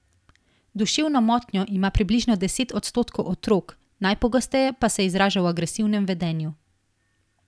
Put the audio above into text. Duševno motnjo ima približno deset odstotkov otrok, najpogosteje pa se izraža v agresivnem vedenju.